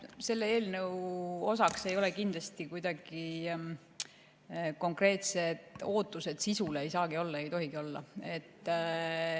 Selle eelnõu osa ei ole kindlasti konkreetsed ootused sisule, ei saagi olla ja ei tohigi olla.